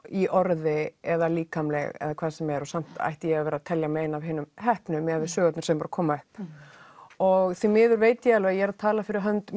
í orði eða líkamleg eða hvað sem er og samt ætti ég að vera að telja mig eina af þeim heppnu miðað við sögurnar sem eru að koma upp og því miður veit ég alveg að ég er að tala fyrir hönd